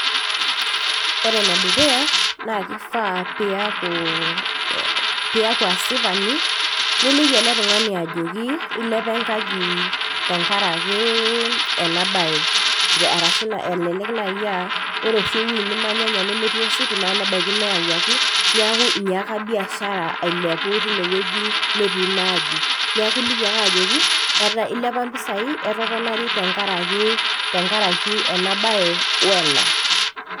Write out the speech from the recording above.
Ore enedukuya, naa kifaa piaku, piaku asipani, niliki ele tung'ani ajoki, ilepa enkaji tenkaraki enabae. Arashi elelek nai ah ore oshi ewoi nimanyanya nemetii ositima, nebaiki neewuaki, neeku inyaaka biashara ailepu tinewueji netii ina aji. Neeku iliki ake ajoki, ilepa mpisai, etoponari tenkaraki enabae, wena.